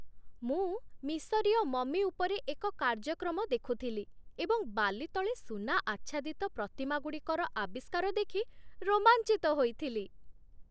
ମୁଁ ମିଶରୀୟ ମମି ଉପରେ ଏକ କାର୍ଯ୍ୟକ୍ରମ ଦେଖୁଥିଲି ଏବଂ ବାଲି ତଳେ ସୁନା ଆଚ୍ଛାଦିତ ପ୍ରତିମାଗୁଡ଼ିକର ଆବିଷ୍କାର ଦେଖି ରୋମାଞ୍ଚିତ ହୋଇଥିଲି।